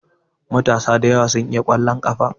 Matasa da yawa su iya ƙwallon ƙafa.